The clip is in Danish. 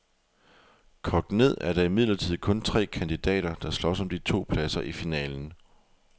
Kogt ned er der imidlertid kun tre kandidater, der slås om de to pladser i finalen.